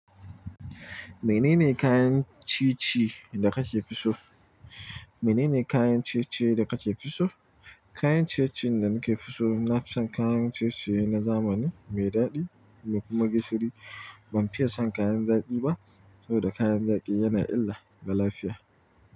Menene kayan ci-ci da kake fi so? Menene kayan ciye-ciye da kake fi so? Kayan ciye-ciyen da nake fi so, na fi son kayan ciye-ciye na zamani, mai daɗi da kuma gishiri. Ban fin son kayan zaƙi ba saboda kayan zaƙi yana illa ga lafiya.